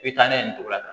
I bɛ taa n'a ye nin cogo la